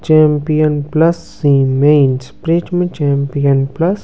champion plus cements prism champion plus --